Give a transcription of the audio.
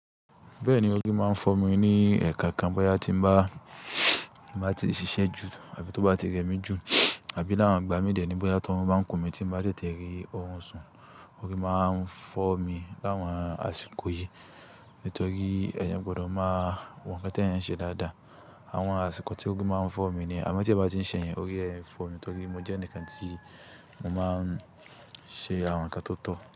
Bẹ́ẹ̀ni, orí máa ń fọ́ mi ní ẹ̀ ko kan bóyá tí mo bá ti ṣiṣẹ́ jù àbí tó bá ti rẹmi jù, àbí láwọn ìgbà mí dẹ̀ ní bóyá tí orun bá ń kùn mí tí mo bá tètè rí orun sùn, orí máa ń fọ́ mi láwọn àsìkò yìí. Nítorí eeyàn gbọdọ̀ máa wo nǹkan tí eeyan ń ṣe dáadáa. Àwọn àsìkò tí orí máa ń fọ́ mi ni yi, àmọ́ tí ẹ bá ń ṣẹ yẹn orí kii fọ́ mi nítorí mo jẹ́ ẹnìkan tí o mo máa ń ṣe àwọn nǹkan tóo tọ́.